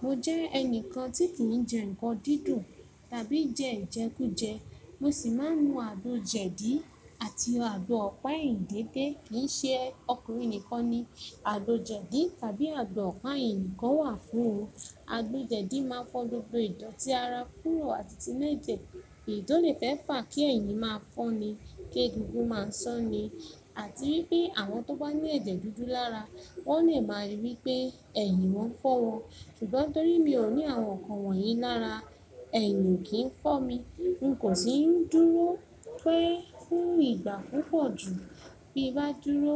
Mo jẹ́ ẹnìkan tí kì jẹ nǹkan dídùn tàbí jẹ ìjẹkújẹ. Mo sì máa ń nu àgbo jẹ̀dí àti àgbo ọ̀pá ìyìndédé. Kì í ṣe ọkùnrin nìkan ni àgbo jẹ̀dí tàbí àgbo ọ̀pá eyì nikan wà fún o. Àgbo jẹ̀dí máà ń fọ́ gbogbo ìdọ̀tí ara kúrò àti ti nu ẹ̀jẹ̀. Èédú lè fẹ́ fà kí ẹ̀yìn máa fọ́ ni, kí egungun máa sán ni. Àti wípé àwọn tó bá ní ẹ̀jẹ̀ dúdú lára, wọ́n lè máa rí wípẹ́ ẹ̀yìn wọ́n fọ́ wọn. Ṣùgbọ́n torí mi ò ní àwọn nǹkan wọ̀nyí lára, ẹ̀yìn ò kí ń fọ́ mi. N kò sì ń dúró pẹ́ fún ìgbà púpọ̀ jù. Bí bá dúró